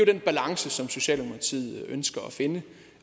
den balance som socialdemokratiet ønsker at finde